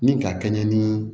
Ni ka kɛɲɛ ni